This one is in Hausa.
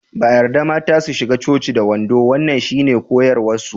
Ba a yarda mata su shiga coci da wando wannan shine koyarwarsu.